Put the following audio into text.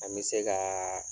An me se ka